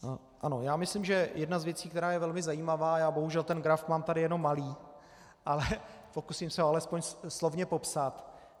Ano, já myslím, že jedna z věcí, která je velmi zajímavá - já bohužel ten graf mám tady jenom malý, ale pokusím se ho alespoň slovně popsat.